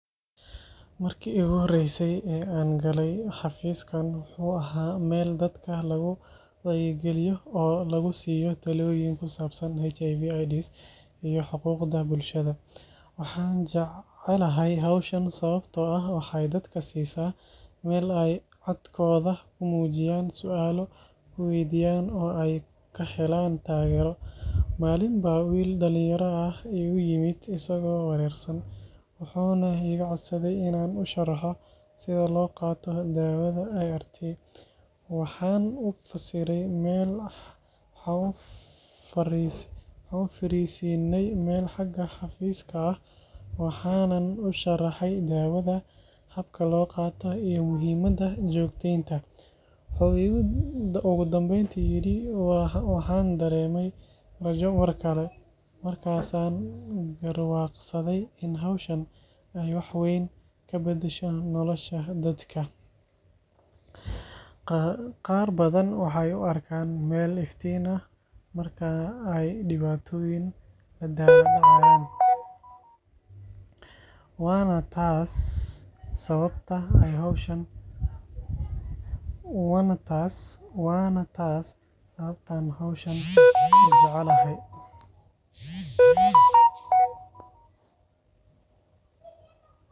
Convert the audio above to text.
Marka aan arko sawirkan, waxaan u maleynayaa in xaruntan ay tahay goob caafimaad ama adeeg bulsho oo muhiim ah. Waxaa laga yaabaa inay tahay meel lagu bixiyo adeegyo caafimaad sida baaritaanka cudurrada faafa, gaar ahaan HIV/AIDS, ama xarun lagu wacyigeliyo bulshada. Goobtani waxay u muuqataa mid dadka loogu talagalay inay helaan macluumaad iyo taageero caafimaad oo degdeg ah, taasoo muhiim u ah in bulshada laga hortago cudurrada iyo in la kordhiyo wacyiga caafimaad. Waxaa sidoo kale muuqata in xaruntan ay bixiso adeegyo tababar iyo wacyigelin, si dadka loogu dhiirrigeliyo inay qaataan hab nololeed caafimaad leh. Tani waxay ka caawineysaa bulshada inay fahmaan sida looga hortago cudurrada iyo sida loo ilaaliyo caafimaadkooda. Guud ahaan, xaruntani waxay door muhiim ah ka ciyaartaa horumarinta caafimaadka bulshada, iyadoo bixineysa adeegyo la isku halleyn karo oo ku saabsan caafimaadka iyo wacyigelinta bulshada. Waxay sidoo kale u tahay meel ammaan ah dadka deegaanka si ay u helaan adeegyada ay u baahan yihiin.